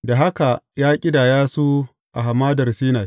Da haka ya ƙidaya su a Hamadar Sinai.